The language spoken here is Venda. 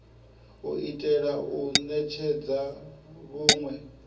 u itela u netshedza vhunwe